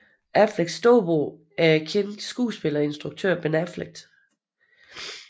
Afflecks storebror er den kendte skuespiller og instruktør Ben Affleck